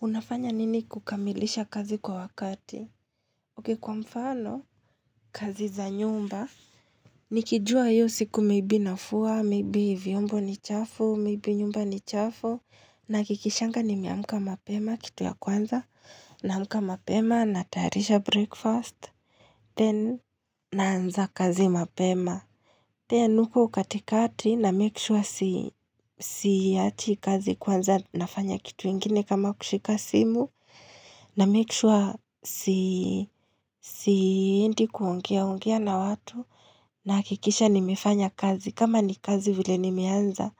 Unafanya nini kukamilisha kazi kwa wakati? Ok, kwa mfano, kazi za nyumba, nikijua iyo siku maybe nafua, miibi viombo ni chafu, maybe nyumba ni chafu, nahakikishanga nimeamka mapema, kitu ya kwanza, naamka mapema, natayarisha breakfast, then, naanza kazi mapema. Then huko katikati namake sure siachi kazi kwanza nafanya kitu ingine kama kushika simu na make sure si siendi kuongea ongea na watu nahakikisha nimefanya kazi kama ni kazi vile nimeanza